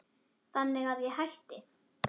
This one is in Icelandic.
Þannig að ég hætti.